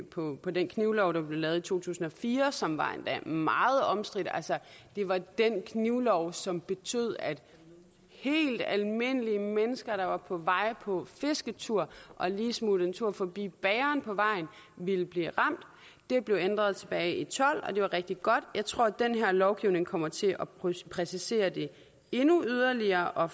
på den knivlov der blev lavet i to tusind og fire som var endda meget omstridt det var den knivlov som betød at helt almindelige mennesker der var på vej på fisketur og lige smuttede en tur forbi bageren på vejen ville blive ramt det blev ændret tilbage i tolv og det var rigtig godt jeg tror den her lovgivning kommer til at præcisere det endnu mere og at